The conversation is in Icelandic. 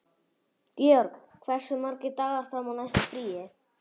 Georg, hversu margir dagar fram að næsta fríi?